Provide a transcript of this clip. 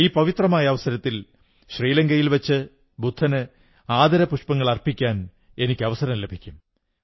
ഈ പവിത്രമായ അവസരത്തിൽ ശ്രീലങ്കയിൽ വച്ച് ബുദ്ധന് ആദരപുഷ്പങ്ങളർപ്പിക്കാൻ എനിക്ക് അവസരം ലഭിക്കും